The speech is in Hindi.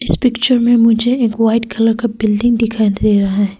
इस पिक्चर में मुझे एक वाइट कलर का बिल्डिंग दिखाई दे रहा है।